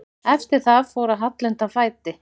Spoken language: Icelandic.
Eftir það fór að halla undan fæti.